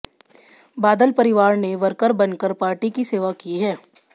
बादल परिवार ने वर्कर बन कर पार्टी की सेवा की है